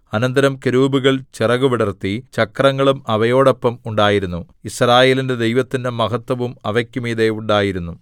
അനന്തരം കെരൂബുകൾ ചിറകുവിടർത്തി ചക്രങ്ങളും അവയോടൊപ്പം ഉണ്ടായിരുന്നു യിസ്രായേലിന്റെ ദൈവത്തിന്റെ മഹത്ത്വവും അവക്കുമീതെ ഉണ്ടായിരുന്നു